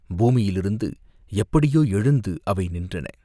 பூமியிலிருந்து எப்படியோ எழுந்து அவை நின்றன.